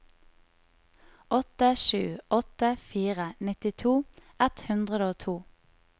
åtte sju åtte fire nittito ett hundre og to